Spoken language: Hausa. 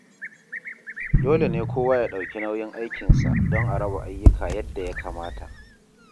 Dole ne kowa ya ɗauki nauyin aikinsa don a raba ayyuka yadda ya kamata.